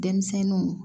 Denmisɛnninw